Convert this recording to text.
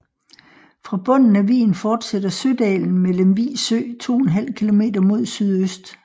Fra bunden af vigen fortsætter Sødalen med Lemvig Sø 2½ km mod sydøst